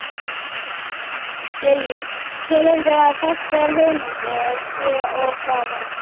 Lillý: Telurðu að þessar hugmyndir séu of hraðar?